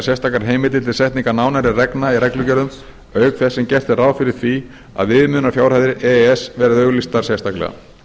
sérstakar heimildir til setningar nánari reglna í reglugerðum auk þess sem gert er ráð fyrir því að viðmiðunarfjárhæðir e e s verði auglýstar sérstaklega